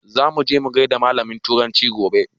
Za muje mu gaida malamin turanci gobe